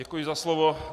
Děkuji za slovo.